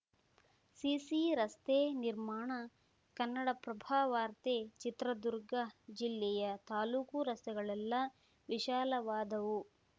CC ರಸ್ತೆ ನಿರ್ಮಾಣ ಕನ್ನಡಪ್ರಭವಾರ್ತೆ ಚಿತ್ರದುರ್ಗ ಜಿಲ್ಲೆಯ ತಾಲೂಕು ರಸ್ತೆಗಳೆಲ್ಲ ವಿಶಾಲವಾದವು